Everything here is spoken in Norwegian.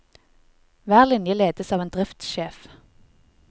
Hver linje ledes av en driftssjef.